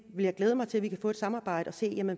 vil glæde mig til at vi kan få et samarbejde og se